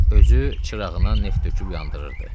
Özü çırağına neft töküb yandırırdı.